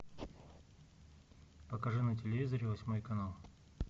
покажи на телевизоре восьмой канал